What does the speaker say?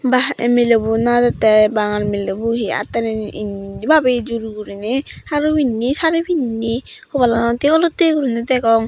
ba ei milebo najettey bangal milebo hi attani indi babeye jur guriney haru pinney sari pinney hobalanot hee olottey guriney degong.